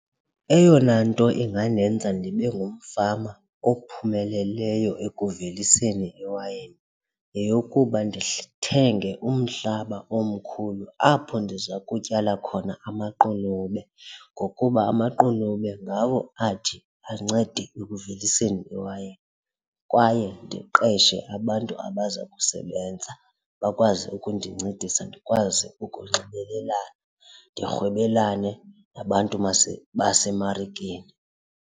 Eyona nto ingandenza ndibe ngumfama ophumeleleyo ekuveliseni iwayini yeyokuba ndithenge umhlaba omkhulu apho ndiza kutyala khona amaqunube, ngokuba amaqunube ngawo athi ancede ekuveliseni iwayini kwaye ndiqeshe abantu abaza kusebenza, bakwazi ukundincedisa ndikwazi ukunxibelelana ndirhwebelane nabantu basemarikeni.